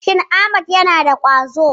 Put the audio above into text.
Shin Ahmad yana da ƙwazo.